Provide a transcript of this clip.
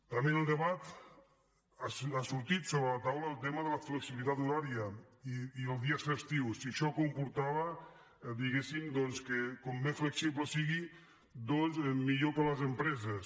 també en el debat ha sortit sobre la taula el tema de la flexibilitat horària i els dies festius si això comportava diguéssim doncs que com més flexible sigui millor per a les empreses